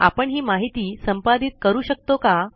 आपण हि माहिती संपादित करू शकतो का